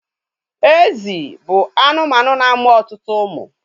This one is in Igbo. Ezi bụ anụmanụ na-amụ ọtụtụ umu